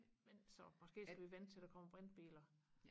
men så måske skal vi vente til der kommer brintbiler